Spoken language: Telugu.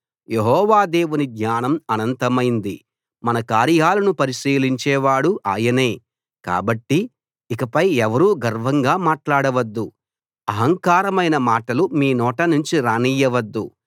యెహోవా దేవుని జ్ఞానం అనంతమైంది మన కార్యాలను పరిశీలించేవాడు ఆయనే కాబట్టి ఇకపై ఎవరూ గర్వంగా మాట్లాడవద్దు అహంకారమైన మాటలు మీ నోట నుంచి రానియ్యవద్దు